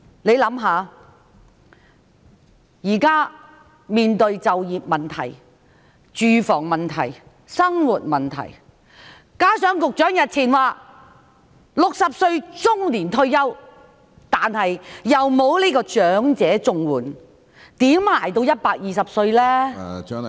試想想，現在面對就業問題、住房問題、生活問題，加上局長日前說 "60 歲是中年退休"，但又不能申領長者綜援，如何支撐到120歲？